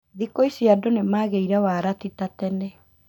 Thikũ ici andũ nĩmagĩire wara tita tene